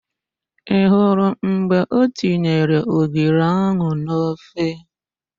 Ị hụrụ mgbe o tinyere ogiri ahụ n'ofe?